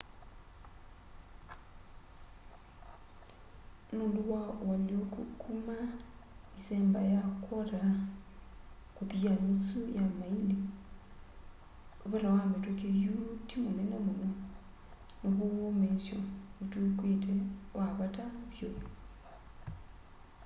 nũndũ wa ũalyũko kuma ĩsemba ya kwota kũthi ya nusu ya maĩli vata wa mĩtũkĩ yu ti munene mũno naw'o ũũmĩĩsyo ũtw'ĩkĩte wa vata vyũ